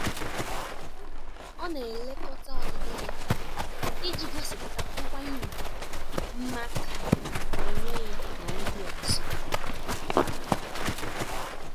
Ọ na-elekọta ọdịdị ya iji gosipụta nkwanye ùgwù maka onwe ya na ndị ọzọ.